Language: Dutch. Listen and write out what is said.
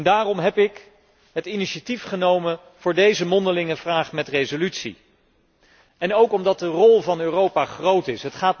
Daarom heb ik het initiatief genomen voor deze mondelinge vraag met resolutie. Ook omdat de rol van Europa groot is.